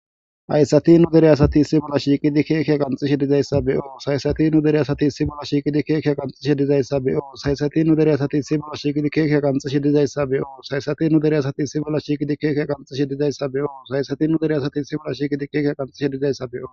ayssati nu dereyasati issi bolla shiiqidi keekeya qanxishe dizayssa be7o saysati nu dereyasati issi bolla shiiqidi keekeya qanxishe dizayssa beyo saysati nu deriyasati issi bolla shiiqidi keekeya qanxishe dizayssa be7o saysati nu deriyasati issi bolla shiikidi keekeya qanxishe dizayssa beyo saysati u dereyasati issi bolla shiiqidi keekeya qanxishe dizayssa beo